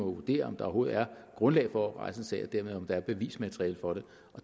vurdere om der overhovedet er grundlag for at rejse en sag og dermed om der er bevismateriale for det